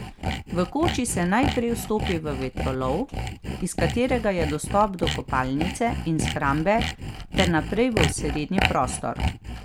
V koči se najprej vstopi v vetrolov, iz katerega je dostop do kopalnice in shrambe ter naprej v osrednji prostor.